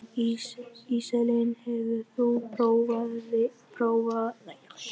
Íselín, hefur þú prófað nýja leikinn?